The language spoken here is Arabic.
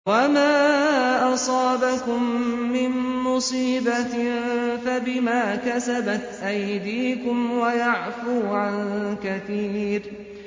وَمَا أَصَابَكُم مِّن مُّصِيبَةٍ فَبِمَا كَسَبَتْ أَيْدِيكُمْ وَيَعْفُو عَن كَثِيرٍ